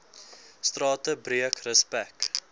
strate breek respek